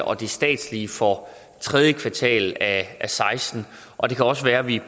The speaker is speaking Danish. og det statslige for tredje kvartal af og seksten og det kan også være at vi